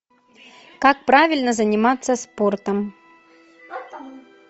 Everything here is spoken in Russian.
как правильно заниматься спортом